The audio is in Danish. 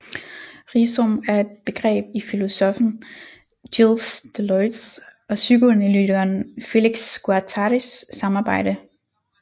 Rhizom er et begreb i filosoffen Gilles Deleuze og psykoanalytikeren Félix Guattaris samarbejde